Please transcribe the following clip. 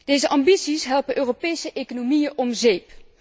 Deze ambities helpen Europese economieën om zeep.